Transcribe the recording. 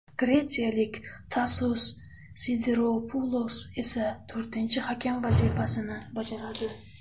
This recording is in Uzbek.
Gretsiyalik Tasos Sidiropulos esa to‘rtinchi hakam vazifasini bajaradi.